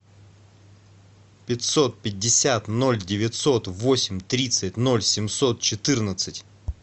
пятьсот пятьдесят ноль девятьсот восемь тридцать ноль семьсот четырнадцать